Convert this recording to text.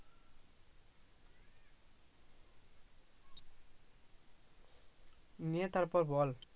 নে তারপর বল